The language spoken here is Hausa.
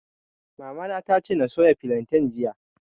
Mamana ta ce na soya filantain jiya